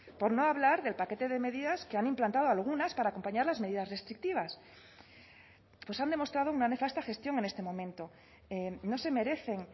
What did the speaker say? por no hablar del paquete de medidas que han implantado algunas para acompañar las medidas restrictivas pues han demostrado una nefasta gestión en este momento no se merecen